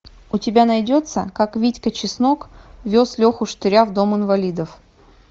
у тебя найдется как витька чеснок вез леху штыря в дом инвалидов